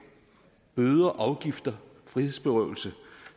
bøder afgifter og frihedsberøvelse